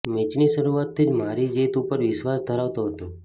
મેચની શરૂઆતથી જ મારી જીત ઉપર વિશ્વાસ ધરાવતો હતો